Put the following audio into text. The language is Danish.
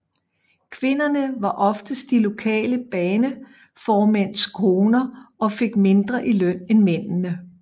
Kvinderne var oftest de lokale baneformænds koner og fik mindre i løn end mændene